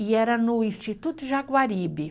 E era no Instituto Jaguaribe.